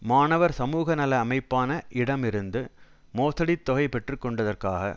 மாணவர் சமூகநல அமைப்பான இடம் இருந்து மோசடித் தொகை பெற்றுக்கொண்டதற்காக